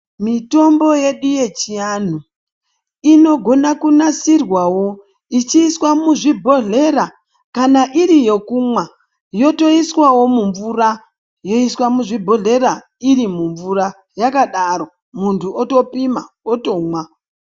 Mitombo yedu yechianhu inogona kunasirwawo ichiiswa muzvibhodhlera kana iri yokumwa yotoiswawo mumvura yoiswa muzvibhodhlera iri mumvura yakadaro muntu otopima otomwa.